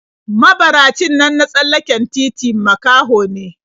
Mabaracin nan na tsallaken titi makaho ne/